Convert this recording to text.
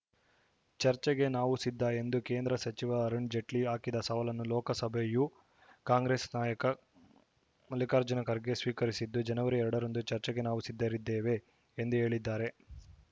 ಚರ್ಚೆಗೆ ನಾವು ಸಿದ್ಧ ಎಂದು ಕೇಂದ್ರ ಸಚಿವ ಅರುಣ್‌ ಜೇಟ್ಲಿ ಹಾಕಿದ ಸವಾಲನ್ನು ಲೋಕಸಭೆಯ ಕಾಂಗ್ರೆಸ್‌ ನಾಯಕ ಮಲ್ಲಿಕಾರ್ಜುನ ಖರ್ಗೆ ಸ್ವೀಕರಿಸಿದ್ದು ಜನವರಿ ಎರಡರಂದು ಚರ್ಚೆಗೆ ನಾವು ಸಿದ್ಧರಿದ್ದೇವೆ ಎಂದು ಹೇಳಿದ್ದಾರೆ